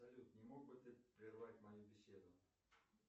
салют не мог бы ты прервать мою беседу